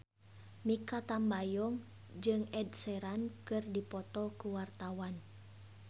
Mikha Tambayong jeung Ed Sheeran keur dipoto ku wartawan